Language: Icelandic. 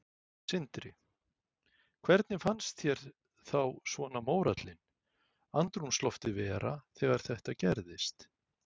Sindri: Hvernig fannst þér þá svona mórallinn, andrúmsloftið vera þegar þetta gerðist?